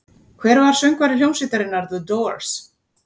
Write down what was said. Hver var söngvari hljómsveitarinnar The Doors?